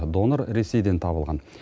донор ресейден табылған